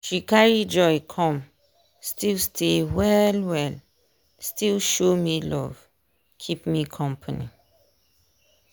dem carry joy come still stay well well still show me love keep me company.